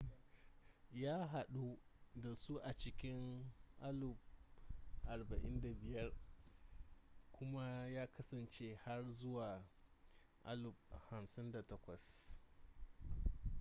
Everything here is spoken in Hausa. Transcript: ya hadu da su a cikin 1945 kuma ya kasance har zuwa 1958